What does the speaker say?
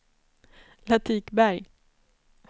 Latikberg